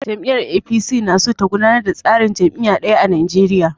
Jam'iyyar APC na so ta gudanar da tsarin jam'iyya ɗaya a Nigeria.